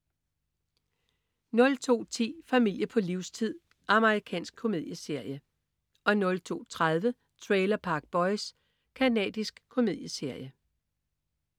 02.10 Familie på livstid. Amerikansk komedieserie 02.30 Trailer Park Boys. Canadisk komedieserie